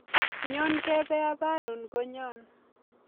Nyon kepe aparun konyon